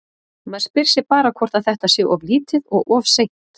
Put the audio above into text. Maður spyr sig bara hvort að þetta sé of lítið og of seint?